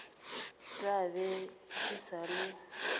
tla be e sa le